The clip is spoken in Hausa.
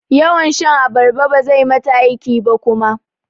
Yawan shan abarba bazai mata aiki ba kuma.